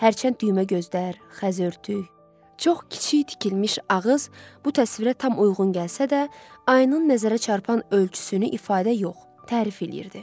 Hərçənd düymə gözlər, xəz örtük, çox kiçik tikilmiş ağız bu təsvirə tam uyğun gəlsə də, ayının nəzərə çarpan ölçüsünü ifadə yox, tərif eləyirdi.